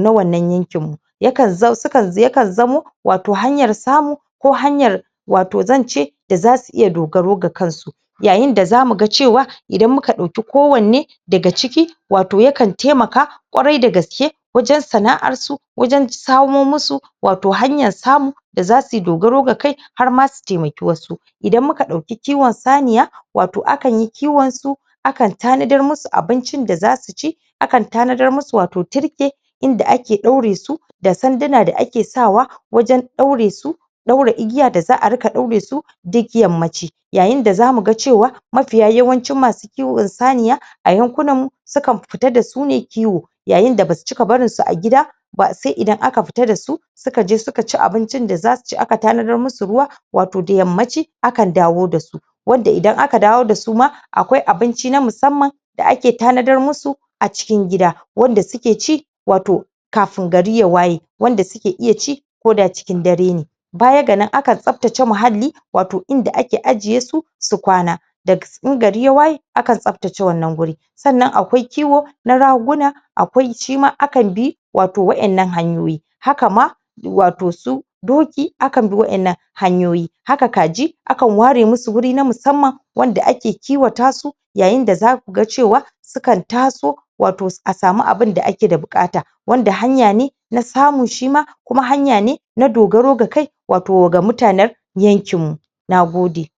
na wannan yakin yakan zamu wato hanyar samu ko hanyar wato zanci da zasu iya dogaro ga kansu yayinda zamu ga cewa idan muka ɗauke kowanne daga ciki wato yakan taimaka ƙwarai da gaske wajan sana'arsu wajan samo mishi wato hanyar samo da zasuyi dogaro da kai harma su taimake wasu idan muka ɗauki kiwan saniya wato akanyi kiwansu akan tanadar musu abincin da zasu ci akan tanadar musu wato turke inda ake ɗauresu da sandina da ake sawa wajan ɗaure su ɗaure igiya da za a ringa ɗauresu digiyar mace yayin da zamu ga cewa mafiya yawancin masu kiwan saniya a yankunan mu sukan fita dasu ne kiwo yayin da basu cika barin a gida ba sai idan aka fita dasu sukaje sukaci abincin da zasu ci akatanadar musu ruwa wato da yammaci akan dawo dasu wanda idan aka dawo dasu ma akwai abinci na musamman da ake tanadar musu a cikin gida wanda suke ci wato kafin gari ya waye wanda suke iya ci ko da cikin dare ne baya ga nan akan tsaftaci muhalli wato inda ake ajjesu su kwana daga ingari ya waye akan tsaftace wuri sannan akwai kiwo na ragona akwai shima akan bi wato waɗannan hanyoyi hakama wato su doki akanbi waɗannan hanyoyi haka kaji akan ware musu wuri na musamman wanda ake kiwata su yayin da zaku ga cewa sukan taso wato a samu abunda ake bukata wanda hanyane na samu shima kuma hanyane na dogaro da kai wato ga mutanan yankin mu nagode